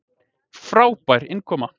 Frábær innkoma.